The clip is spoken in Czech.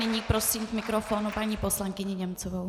Nyní prosím k mikrofonu paní poslankyni Němcovou.